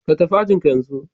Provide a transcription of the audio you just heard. Ka tafi ajin ka yanzu